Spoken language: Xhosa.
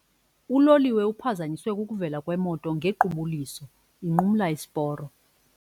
Uloliwe uphazanyiswe kukuvela kwemoto ngequbuliso inqumla isiporo.